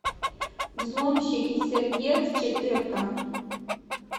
взломщики сердец четыре ка